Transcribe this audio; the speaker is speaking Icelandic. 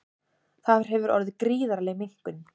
Þar hefur orðið gríðarleg minnkun